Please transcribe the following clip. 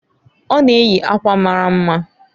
Ọ na-eyi akwa mara mma.